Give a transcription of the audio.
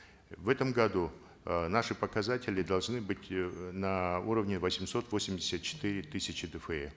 в этом году э наши показатели должны быть э на уровне восемьсот восемьдесят четыре тысячи дфэ